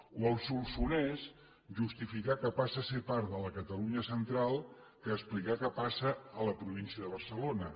o al solsonès justificar que passa a ser part de la catalunya central que explicar que passa a la província de barcelona